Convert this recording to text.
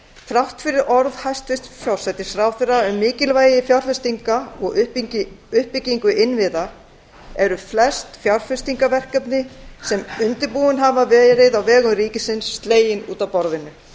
þrátt fyrir orð hæstvirts forsætisráðherra um mikilvægi fjárfestinga og uppbyggingu innviða eru flest fjárfestingarverkefni sem undirbúin hafa verið á vegum ríkisins slegin út af borðinu